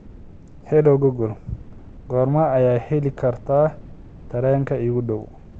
hello google goorma ayaan heli karaa tareenka iigu dhow